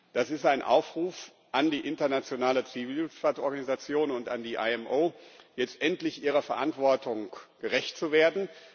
Das ist ein Aufruf an die Internationale Zivilluftfahrtorganisation und an die IMO, jetzt endlich ihrer Verantwortung gerecht zu werden.